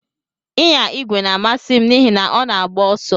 Ịnya igwe na-amasị m n'ihi na ọ na-agba ọsọ.